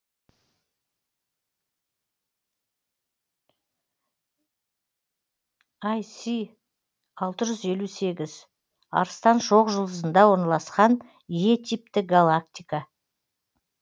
іс алтыжүз елу сегіз арыстан шоқжұлдызында орналасқан е типті галактика